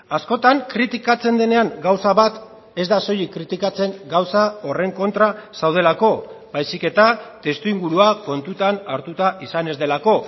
askotan kritikatzen denean gauza bat ez da soilik kritikatzen gauza horren kontra zaudelako baizik eta testuingurua kontutan hartuta izan ez delako